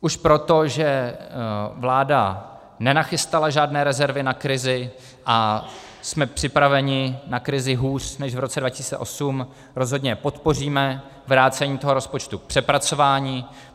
Už proto, že vláda nenachystala žádné rezervy na krizi a jsme připraveni na krizi hůř než v roce 2008, rozhodně podpoříme vrácení tohoto rozpočtu k přepracování.